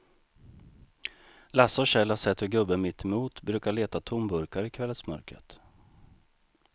Lasse och Kjell har sett hur gubben mittemot brukar leta tomburkar i kvällsmörkret.